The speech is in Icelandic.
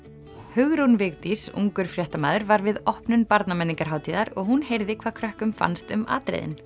Hugrún Vigdís ungur fréttamaður var við opnun Barnamenningarhátíðar og hún heyrði hvað krökkum fannst um atriðin